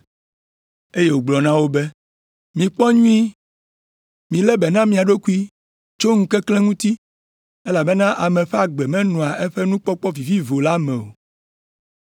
Eye wògblɔ na wo be, “Mikpɔ nyuie! Milé be na mia ɖokui tso ŋukeklẽ ŋuti, elabena ame ƒe agbe menɔa eƒe nukpɔkpɔ vivivo la me o.”